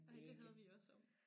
Ej det havde vi også om